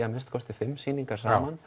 að minnsta kosti fimm sýningar saman